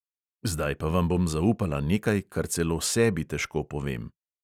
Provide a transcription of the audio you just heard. Zdaj pa vam bom zaupala nekaj, kar celo sebi težko povem.